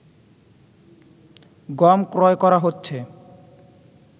গম ক্রয় করা হচ্ছে